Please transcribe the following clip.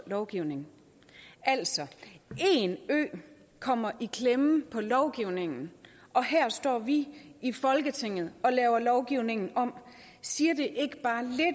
lovgivning altså én ø kommer i klemme i lovgivningen og her står vi i folketinget og laver lovgivningen om siger